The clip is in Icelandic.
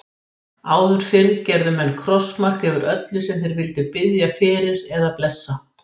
Áður fyrr gerðu menn krossmark yfir öllu sem þeir vildu biðja fyrir eða blessa.